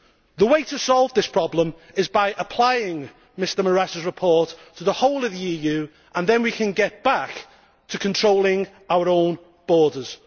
The way to solve this problem is by applying Mr Moraes' report to the whole of the EU, and then we can get back to controlling our own borders.